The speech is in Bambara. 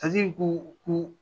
ko ko